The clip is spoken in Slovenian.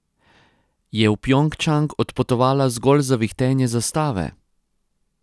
Je v Pjongčang odpotovala zgolj za vihtenje zastave?